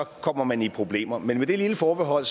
kommer man i problemer men med det lille forbehold